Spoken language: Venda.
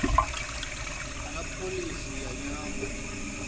na pholisi ya nyambo